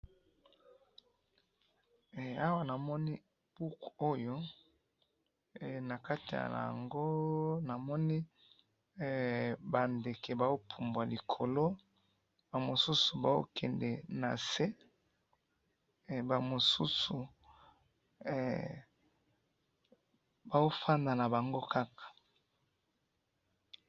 awa namoni buku oyo nakati yango, namoni ba ndeke bazopubua likolo, ba mosusu bazokende nase, ba mosusu bazofanda na bango kaka